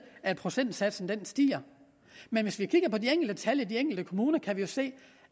at procentsatsen stiger men hvis vi kigger på de enkelte tal i de enkelte kommuner kan vi jo se